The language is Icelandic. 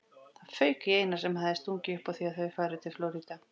Það fauk í Einar sem hafði stungið upp á að þau færu til Flórída.